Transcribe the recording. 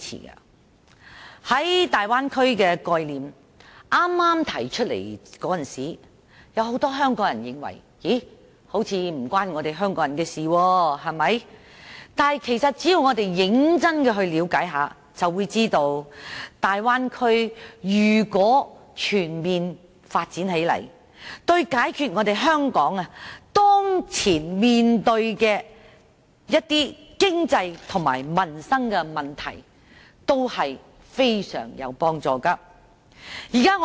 在剛剛提出大灣區的概念時，很多香港人認為似乎與香港人無關，但只要我們認真了解一下就會知道，如果大灣區全面發展起來，對解決香港當前面對的一些經濟及民生問題均非常有幫助。